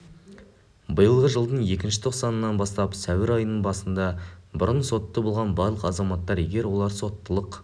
биылғы жылдың екінші тоқсанынан бастап сәуір айының басында бұрын сотты болған барлық азаматтар егер олар соттылық